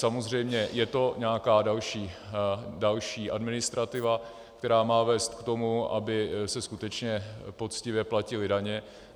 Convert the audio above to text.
Samozřejmě je to nějaká další administrativa, která má vést k tomu, aby se skutečně poctivě platily daně.